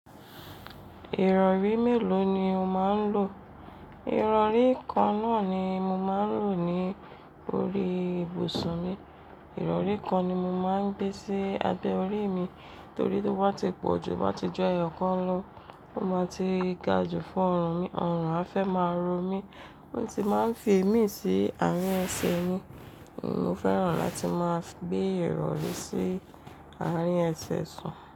Ìrọ̀rí mélòó ni o máa ń lò? Ìrọ̀rí kan náà ni mo máa ń lò ní orí ibùsùn mi. Ìrọ̀rí kan ni mo máa ń gbé sí abẹ́ orí mi torí to ba ti pọ̀ jù, to ba ti ju ẹyọ̀ kan lọ, ó máa ti ga jù fún ọrùn mi, ọrùn afẹ́ máa ro mí. Mo sì máa ń fi ìmí sí àárín ẹsẹ̀ mi. Mo fẹ́ràn láti máa gbé ìrọ̀rí sí àárín ẹsẹ̀ sùn.